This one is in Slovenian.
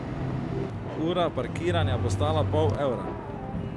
Ura parkiranja bo stala pol evra.